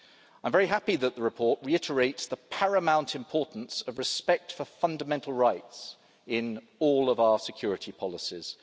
I'm very happy that the report reiterates the paramount importance of respect for fundamental rights in all of our security policies.